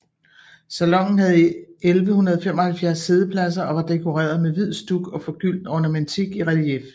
Salonen havde 1175 siddepladser og var dekoreret med hvid stuk og forgyldt ornamentik i relief